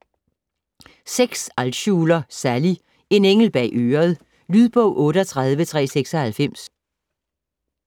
Altschuler, Sally: En engel bag øret Lydbog 38396